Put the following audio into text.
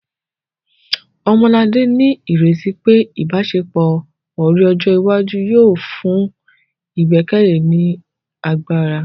Ọmọlará ní ìrètí pé ìbáṣepọ̀ ọ̀rẹ́ ọjọ́ iwájú yóò fún ìgbẹ́kẹ̀lé ní agbára